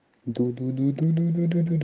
дуду дуду